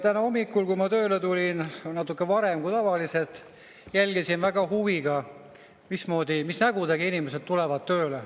Täna hommikul, kui ma tööle tulin, natukene varem kui tavaliselt, jälgisin huviga, mismoodi, mis nägudega inimesed tööle tulevad.